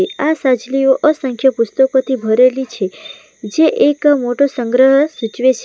આ સજલીઓ અસંખ્ય પુસ્તકોથી ભરેલી છે જે એક મોટો સંગ્રહ સૂચવે છ --.